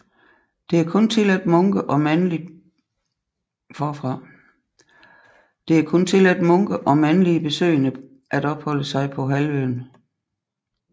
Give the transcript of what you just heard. Det er kun tilladt munke og mandlige besøgende at opholde sig på halvøen